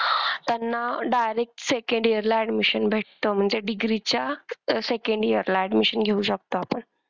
त्यांना direct second year ला admission भेटत म्हणजे degree च्या second year ला admission घेऊ शकतो आपण.